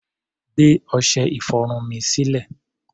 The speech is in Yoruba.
Gbé ọṣẹ-ìfọrun mi sílẹ̀!